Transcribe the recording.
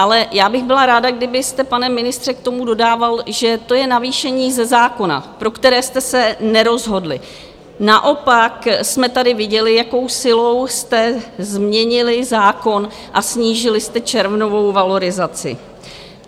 Ale já bych byla ráda, kdybyste, pane ministře, k tomu dodával, že to je navýšení ze zákona, pro které jste se nerozhodli, naopak jsme tady viděli, jakou silou jste změnili zákon a snížili jste červnovou valorizaci.